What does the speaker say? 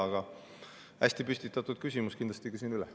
Aga hästi püstitatud küsimus, kindlasti küsin üle.